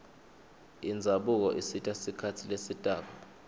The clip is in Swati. indzabuko isita sikhatsi lesitako